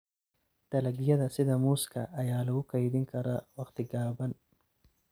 Dalagyada sida muuska ayaa lagu kaydin karaa wakhti gaaban.